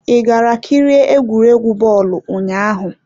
I gara kirie egwuregwu bọọlụ ụnyaahụ?